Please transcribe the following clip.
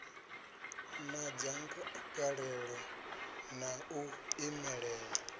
na dzangalelo ḽa u imelela